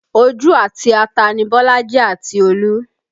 Ojú àti ata ni Bolaji àti Olú